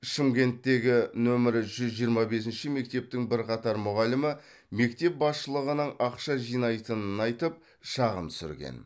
шымкенттегі нөмірі жүз жиырма бесінші мектептің бірқатар мұғалімі мектеп басшылығының ақша жинайтынын айтып шағым түсірген